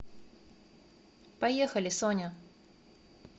поехали соня